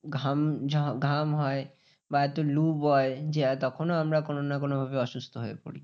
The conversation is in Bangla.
ঘাম ঘাম হয় বা এত লুয় যে, তখনও আমরা কোনো না কোনো ভাবে অসুস্থ হয়ে পরি।